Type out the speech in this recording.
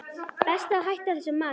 Best að hætta þessu masi.